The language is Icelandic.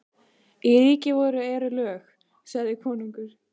Í ríki voru eru lög, sagði konungur.